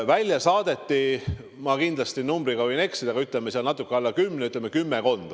Välja saadeti – ma kindlasti numbriga võin eksida – natuke alla kümne inimese või ütleme, et kümmekond.